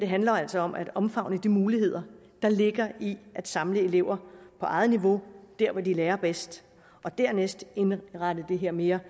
handler altså om at omfavne de muligheder der ligger i at samle elever på eget niveau hvor de lærer bedst og dernæst indrette det her mere